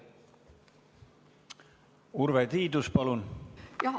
Urve Tiidus, palun!